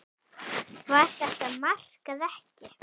Var þetta mark eða ekki?